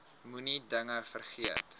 moenie dinge vergeet